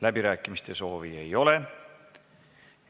Läbirääkimiste soovi ei ole.